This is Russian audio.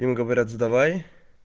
им говорят сдавай